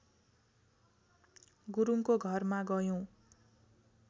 गुरुङको घरमा गयौँ